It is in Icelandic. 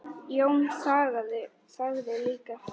Jón þagði líka.